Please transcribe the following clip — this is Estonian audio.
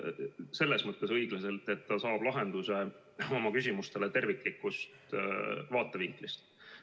Selles mõttes õiglaselt, et ta saab lahenduse oma küsimustele terviklikust vaatevinklist.